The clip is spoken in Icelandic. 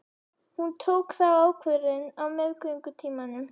Hún tók þá ákvörðun á meðgöngutímanum.